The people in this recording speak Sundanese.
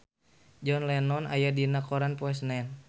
John Lennon aya dina koran poe Senen